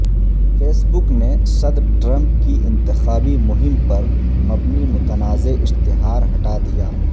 face بک نے صدر Trump کی انتخابی مہم پر مبنی متنازعہ اشتہار ہٹا دیا